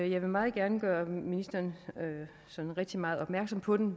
jeg vil meget gerne gøre ministeren sådan rigtig meget opmærksom på den